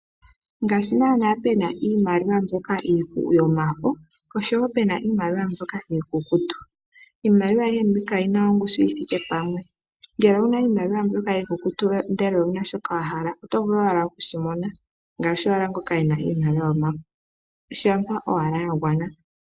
Ngaashi nana pena iimaliwa mbyoka yomafo oshowo pena iimaliwa mbyoka iikukutu, iimaliwa ayihe mbika oyina ongushu yithike pamwe. Ngele owuna iimaliwa mbyoka iikukutu ndele owuna shoka wahala oto vulu owa okushi mona ngaashi owala ngoka ena iimaliwa yomafo shampa owala yagwana.